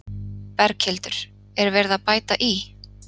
Berghildur: Er verið að bæta í?